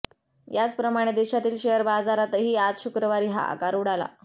याचप्रमाणे देशातील शेअर बाजारातही आज शुक्रवारी हाहाकार उडाला